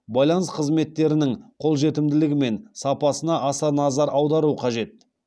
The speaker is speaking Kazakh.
байланыс қызметтерінің қолжетімділігі мен сапасына аса назар аудару қажет